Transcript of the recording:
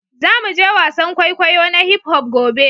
Za mu je wasan kwaikwayo na hip-hop gobe